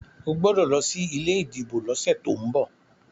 o gbódò ló sí ilé ìdìbò ló sẹ to'n bọ!